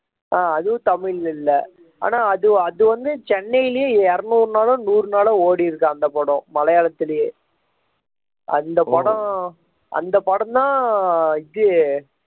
ஆஹ் அதுவும் தமிழ்ல இல்ல ஆனா அது வந்து சென்னையிலேயே இருநூறு நாளோ நூறு நாளோ ஓடி இருக்கு அந்த படம் மலையாளத்திலேயே அந்த படம் அந்த படம் தான் இது